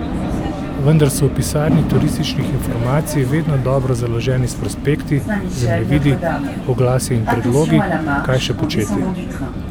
Vendar so v pisarni turističnih informacij vedno dobro založeni s prospekti, zemljevidi, oglasi in predlogi, kaj še početi.